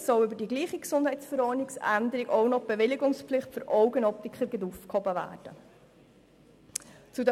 Mit derselben Änderung der GesV soll auch die Bewilligungspflicht für Augenoptiker aufgehoben werden.